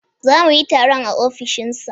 Za mu yi taron a ofishin sa